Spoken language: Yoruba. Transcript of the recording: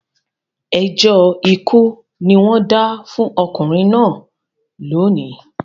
Ẹjọ́ ikú ni wọ́n dá fún ọkùnrin náà lónìí